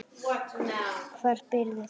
Hvar býrðu þá?